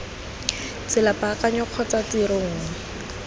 tsela paakanyo kgotsa tiro nngwe